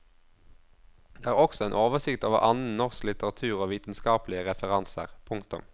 Det er også en oversikt over annen norsk litteratur og vitenskapelige referanser. punktum